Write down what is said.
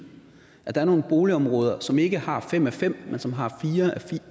at der er nogle boligområder som ikke har fem af fem men som har fire